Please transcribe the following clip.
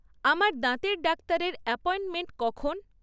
আমার দাঁতের ডাক্তারের অ্যাপয়েন্টমেন্ট কখন?